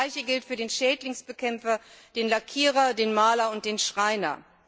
Das gleiche gilt für den Schädlingsbekämpfer, den Lackierer, den Maler und den Schreiner.